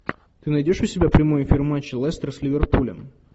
ты найдешь у себя прямой эфир матча лестер с ливерпулем